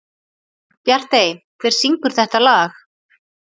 Bjartey, hver syngur þetta lag?